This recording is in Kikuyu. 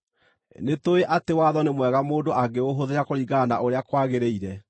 Nĩtũũĩ atĩ watho nĩ mwega mũndũ angĩũhũthĩra kũringana na ũrĩa kwagĩrĩire.